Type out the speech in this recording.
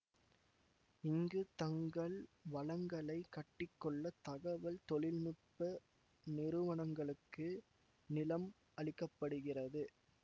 இங்கு தங்கள் வளங்களை கட்டிக்கொள்ள தகவல் தொழில் நுட்ப நிறுவனங்களுக்கு நிலம் அளிக்க படுகிறது